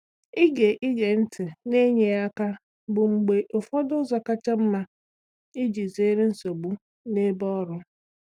Ige Ige ntị na-enyeghị aka bụ mgbe ụfọdụ ụzọ kacha mma iji zere nsogbu n’ebe ọrụ.